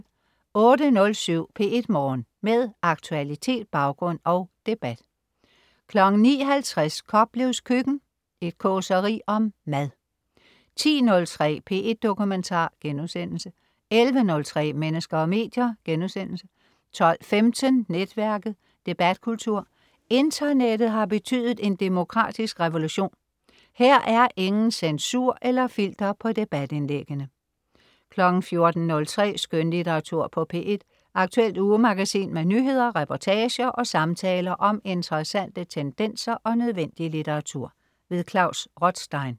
08.07 P1 Morgen. Med aktualitet, baggrund og debat 09.50 Koplevs Køkken. Et causeri om mad 10.03 P1 Dokumentar* 11.03 Mennesker og medier* 12.15 Netværket. Debatkultur. Internettet har betydet en demokratisk revolution. Her er ingen censur eller filter på debatindlæggende 14.03 Skønlitteratur på P1. Aktuelt ugemagasin med nyheder, reportager og samtaler om interessante tendenser og nødvendig litteratur. Klaus Rothstein